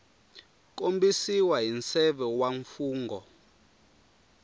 kombisiwa hi nseve wa mfungho